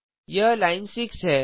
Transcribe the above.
यह लाइन 6 है